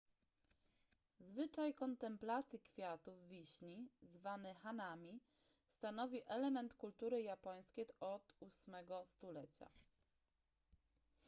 zwyczaj kontemplacji kwiatów wiśni zwany hanami stanowi element kultury japońskiej od ósmego stulecia